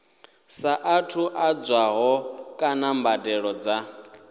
saathu ḓadzwaho kana mbadelo dza